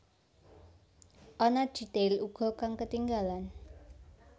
Ana detail uga kang ketinggalan